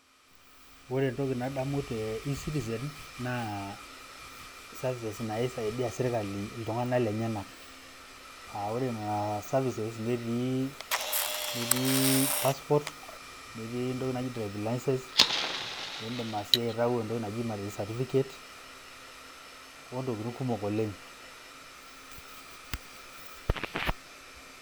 Ore entoki nadamu te ecitizen naa services naisaidia sirkali iltunganak lenyenak. Aa ore Nena services netii ,etii passport, netii entoki naji driving license, indim sii aitayu entoki naji marriage certificate ontokitin kumok oleng.